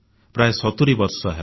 ପ୍ରାୟ 70 ବର୍ଷ ହେଲା